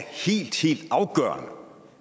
helt helt afgørende